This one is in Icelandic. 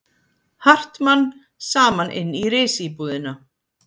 Hartmann saman inn í risíbúðina.